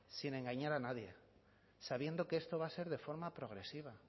sin engañar a nadie sabiendo que esto va a ser de forma progresiva